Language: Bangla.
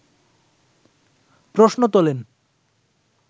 প্রশ্ন তোলেন